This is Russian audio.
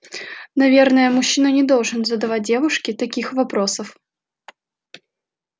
наверное мужчина не должен задавать девушке таких вопросов